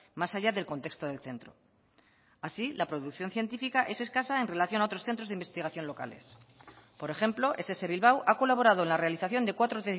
más allá del contexto del centro así la producción científica es escasa en relación a otros centros de investigación locales por ejemplo ess bilbao ha colaborado en la realización de cuatro